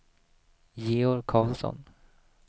Georg Karlsson